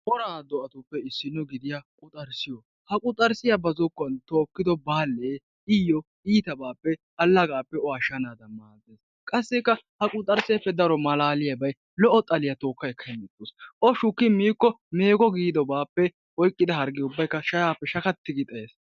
Woraa do'atuppe issino gidida quxarssiyo. Ha quxarssiya ba zokkuwan tookkido baallee iyyo iitabaappe allagape o ashshanaadan maaddes. Qassikka ha quxarsseeppe daro malaaliyabayi lo'o xaliya tookka ekka hemettawus. O shukki miikko meegi giidobaappe oyqqida hargge ubbayi shayaappe shatatti gi xayes.